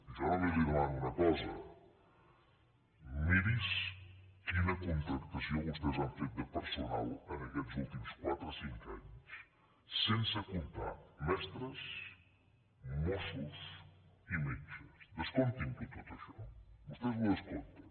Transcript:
jo només li demano una cosa miri’s quina contractació vostès han fet de personal en aquests últims quatre cinc anys sense comptar mestres mossos i metges descomptin tot això vostès ho descompten